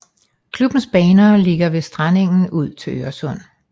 Klubbens baner ligger ved strandengen ud til Øresund